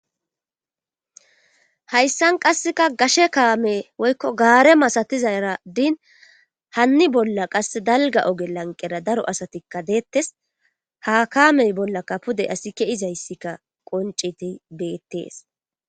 Hayssan qasseka gashe kaame woykko gaare masatizaara din hanni bolla qasse dalgga oge lanqqera daro asatikka deettees ha kaame bollaka pude asi keuizayssika qonccidi beetes